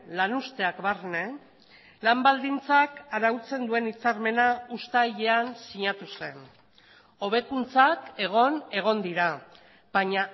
lan uzteak barne lan baldintzak arautzen duen hitzarmena uztailean sinatu zen hobekuntzak egon egon dira baina